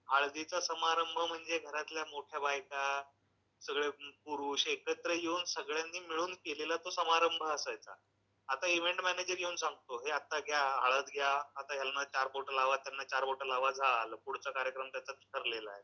हळदीचा समारंभ म्हणजे घरातल्या मोठ्या बायका सगळे पुरुष एकत्र येऊन सगळ्यांनी मिळून केलेला तो समारंभ असायचा. आता इव्हेंट मॅनेजर येऊन सांगतो, हे आता घ्या, हळद घ्या, यांना चार बोटं लावा, त्यांना चार बोटं लावा, झालं. पुढचा कार्यक्रम त्यांचा ठरलेलाय.